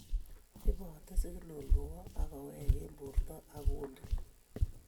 Ibote siginal kowo ak kowek eng' borto ak kundit